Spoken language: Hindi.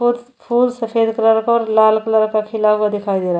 फूल सफेद कलर का और लाल कलर का खिला हुआ दिखाई दे रहा है।